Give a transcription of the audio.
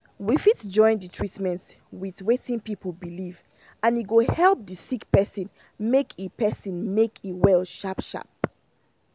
we fit join the treatment with wetin people believe and e go help the sick person make e person make e well sharp sharp.